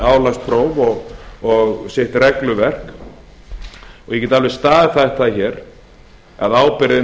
álagspróf og sitt regluverk ég get alveg staðhæft það hér að ábyrgðin